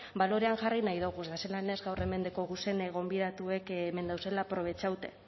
balorean jarri nahi doguz eta zelan ez gaur hemen dekoguzen gonbidatuek hemen dauzela aprobetxaute